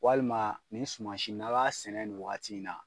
Walima nin suma si n'a' b'a sɛnɛ nin wagati in na.